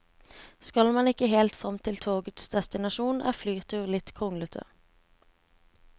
Skal man ikke helt frem til togets destinasjon, er flytur litt kronglete.